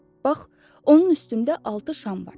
Bax, onun üstündə altı şam var.